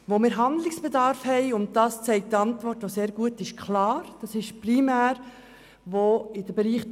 Wo wir Handlungsbedarf sehen, ist primär im Bereich der gesamtschweizerischen Tarifstruktur für die stationäre Psychiatrie (TARPSY).